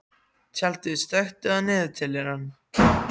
Tjaldur, slökktu á niðurteljaranum.